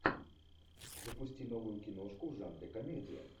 запусти новую киношку в жанре комедия